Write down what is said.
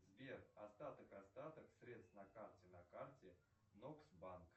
сбер остаток остаток средств на карте на карте нокс банк